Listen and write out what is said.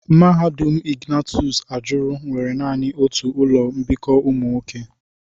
Mahadum Ignatius ajuru nwere nani otu ụlọ mbikọ ụmụ nwoke.